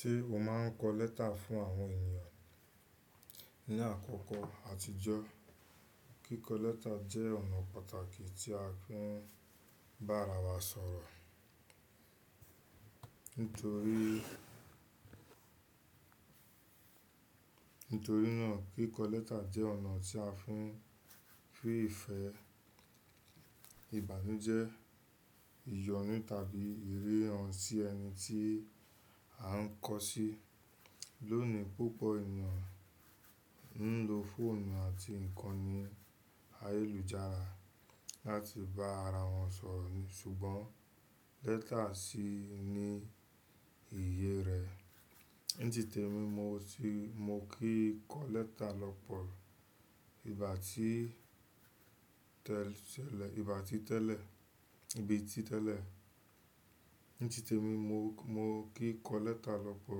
Tí o máa ń kọ lẹ́tà fún àwọn ènìyàn? Ní àkọ́kọ́ àtijọ́, kíkọ lẹ́tà jẹ́ ọ̀nà pàtàkì tí a fi ń bá ara wa sọ̀rọ̀. Nítorí, nítorí náà kíkọ lẹ́tà jẹ́ ọ̀nà tí a fi ń fi ìfẹ́, ìbànújẹ́, ìyọnu tàbí ìriran sí ẹni tí a ń kọ sí. Lónìí púpọ̀ ènìyàn ń lo fóònù àti ǹkan ní ayélujára láti bá ara wọn sọ̀rọ̀ ni, ṣùgbọ́n lẹ́tà sì ní iye rẹ̀. Ní tí tèmi mo ti, mo kí kọ lẹ́tà lọ́pọ̀ ìgbà tí tẹ́lẹ̀ ìgbà tí tẹ́lẹ̀, bi tí tẹ́lẹ̀. Ní tí tèmi mo, mo kí kọ lẹ́tà lọ́pọ̀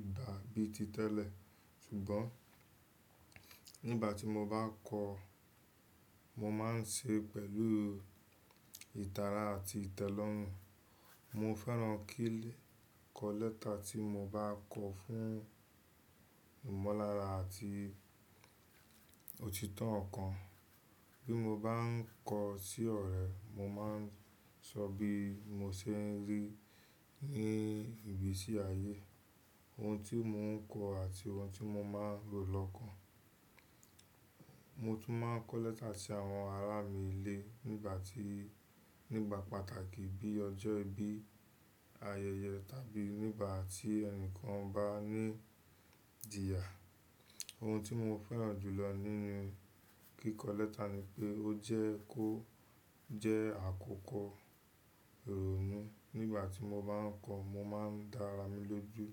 ìgbà bíi ti tẹ́lẹ̀, ṣùgbọ́n nígbà tí mo bá kọ, mo máa ń ṣe pẹ̀lú ìtara àti ìtẹ́lọ́rùn. Mo fẹ́ràn kí lẹ́ kọ lẹ́tà tí mo bá kọ fún ìmọ̀lára àti òtítọ́ ọ̀kan. Bí mo bá ń kọ sí ọ̀rẹ́, mo máa ń sọ bí mo ṣe ń rí ní ibi tí ààyè, ohun tí mo ń kọ àti ohun tí mo máa rò lọ́kàn. Mo tún máa ń kọ lẹ́tà sí àwọn ará mi ilé nígbà tí, nígbà pàtàkì bí ọjọ́ ìbí, ayẹyẹ tàbí nígbà tí ẹnìkan bá ní ìjìyà. Ohun tí mo fẹ́ràn jùlọ nínú kíkọ lẹ́tà ni pé ó jẹ́ kó jẹ́ àkókò ìrònú. Nígbà tí mo bá ń kọ, mo máa ń dá ara mi lójú.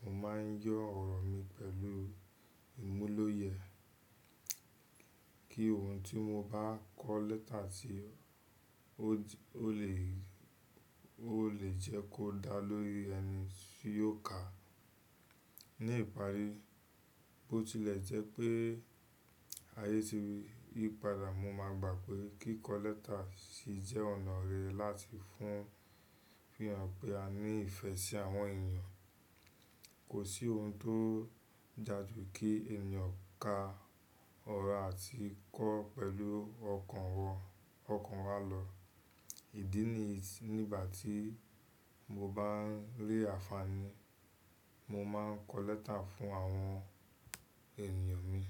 Mo máa ń yọ ọ̀rọ̀ mi pẹ̀lú ìmúlòyẹ̀ kí ohùn tí mo bá kọ lẹ́tà tí ó lè, ó lè jẹ́ kó dá lórí ẹni tí yóò ka á. Ní ìparí, bó tilẹ̀ jẹ́ pé ayé tì yí padà, mo máa gbà pé kíkọ lẹ́tà sì jẹ́ ọ̀nà rerẹ̀ láti fún fi hàn pé a ní ìfẹ́ sí àwọn ènìyàn. Kò sí ohùn tó ja ju kí ènìyàn ka ọ̀rọ̀ àti kọ́ pẹ̀lú ọkàn wọn, ọkàn wa lọ. Ìdí níyì nígbà tí mo bá ń lé àfààní, mo máa ń kọ lẹ́tà fún àwọn ènìyàn mi.